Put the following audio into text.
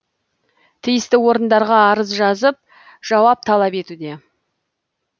тиісті орындарға арыз жазып жауап талап етуде